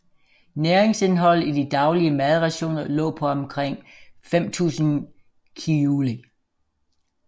Næringsindholdet i de daglige madrationer lå på omkring 5000 kilojule